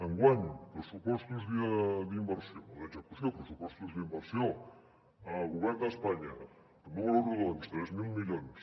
enguany pressupostos d’inversió no d’execució pressupostos d’inversió el govern d’espanya números rodons tres mil milions